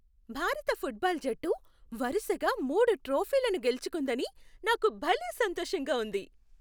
భారత ఫుట్బాల్ జట్టు వరుసగా మూడు ట్రోఫీలను గెలుచుకుందని నాకు భలే సంతోషంగా ఉంది.